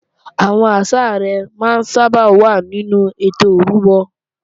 Àwọn ìsàrẹ́ máa ń sábà wà nínú ètò ìrúbọ